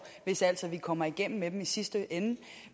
hvis altså vi kommer igennem med dem i sidste ende